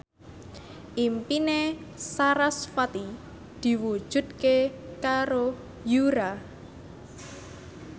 impine sarasvati diwujudke karo Yura